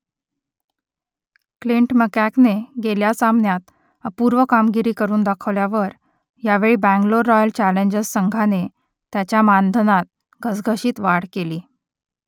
Clint मॅककेने गेल्या सामन्यात अपूर्व कामगिरी करून दाखवल्यावर यावेळी बंगलोर रॉयल चॅलेंजर्स संघाने त्याच्या मानधनात घसघशीत वाढ केली